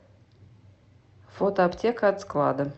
фото аптека от склада